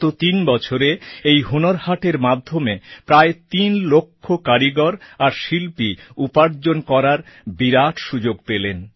গত তিন বছরে এই হুনর হাটের মাধ্যমে প্রায় তিন লক্ষ কারিগর আর শিল্পী উপার্জন করার বিরাট সুযোগ পেলেন